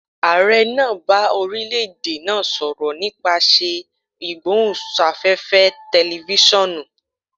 Aare naa ba orilẹ-ede naa sọrọ nipasẹ igbohunsafefe tẹlifisiọnu.